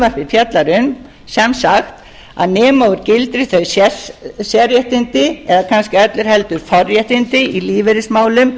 um sem sagt að nema úr gildi þau sérréttindi eða kannski öllu heldur forréttindi í lífeyrismálum